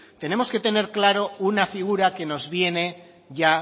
tenemos que tener clara una figura que nos viene ya